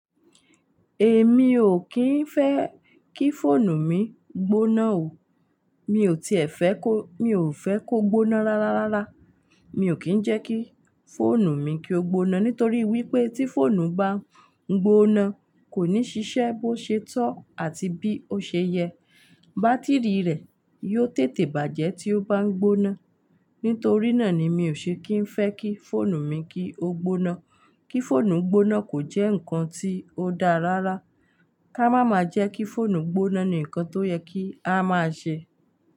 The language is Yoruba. Èmi ò kí ń fẹ́ kí fóònù mi gbóná o. Mi ò tiẹ̀ fẹ́ kó, mi ò fẹ́ kó gbóná rárá, rárá. Mi ò kí ń jẹ́ kí fóònù mi kí ó gbóná nítorí wípé tí fóònù bá ń gbóná kò ní ṣiṣẹ́ bó ṣe tọ́ àti bí ó ṣe yẹ. Bátíìrì rẹ̀ yóò tètè bàjẹ́ tí ó bá ń gbóná. Nítorí náà ni mi ò ṣe kí ń fẹ́ kí fóònù mi kí ó gbóná. Kí fóònù gbóná kò jẹ́ nǹkan tí ó dáa rárá. Ká máa ma jẹ́ kí fóònù gbóná ni nǹkan tó yẹ kí a máa ṣe.